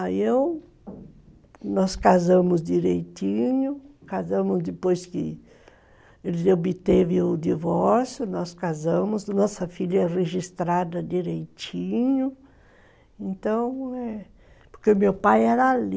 Aí eu, nós casamos direitinho, casamos depois que ele obteve o divórcio, nós casamos, nossa filha é registrada direitinho, então, eh, porque meu pai era ali,